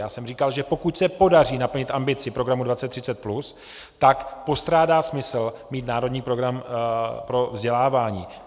Já jsem říkal, že pokud se podaří naplnit ambici Programu 2030+, tak postrádá smysl mít Národní program vzdělávání.